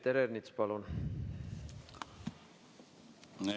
Peeter Ernits, palun!